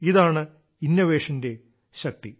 ഇതാണ് കണ്ടുപിടുത്തത്തിന്റെ ശക്തി